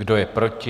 Kdo je proti?